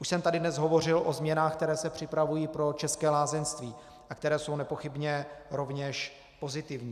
Už jsem tady dnes hovořil o změnách, které se připravují pro české lázeňství a které jsou nepochybně rovněž pozitivní.